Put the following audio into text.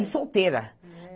E solteira.